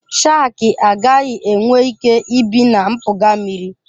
Shakị agaghị enwe ike ibi na mpụga mmiri.